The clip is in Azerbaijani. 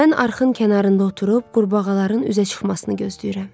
Mən arxın kənarında oturub qurbağaların üzə çıxmasını gözləyirəm.